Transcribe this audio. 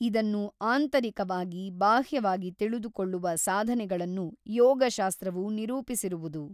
ಇದನ್ನು ಆಂತರಿಕವಾಗಿ ಬಾಹ್ಯವಾಗಿ ತಿಳಿದುಕೊಳ್ಳುವ ಸಾಧನೆಗಳನ್ನು ಯೋಗಶಾಸ್ತ್ರವು ನಿರೂಪಿಸಿರುವುದು.